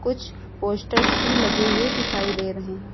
कुछ पोस्टर्स भी लगे हुए दिखाई दे रहे हैं।